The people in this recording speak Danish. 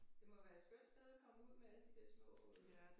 Det må være et skønt sted at komme ud med alle de der små øh